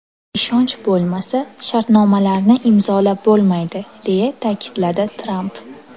Ishonch bo‘lmasa shartnomalarni imzolab bo‘lmaydi!” deya ta’kidladi Tramp.